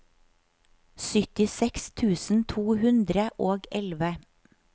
syttiseks tusen to hundre og elleve